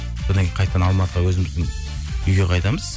одан кейін қайтадан алматыға өзіміздің үйге қайтамыз